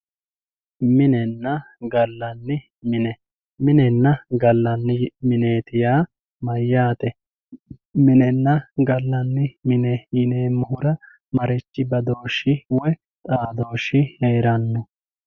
Minenna ga'lanni mine, minenna ga'lanni minneti yaa mayate, minenna ga'lanni mine yineemohura marichi badooshi woyi xaadoshi heeranno.